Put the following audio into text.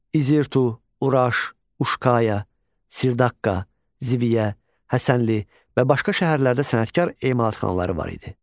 İzirtu, Uraş, Uşkaya, Sirdaqqa, Zibiyə, Həsənli və başqa şəhərlərdə sənətkar emalatxanaları var idi.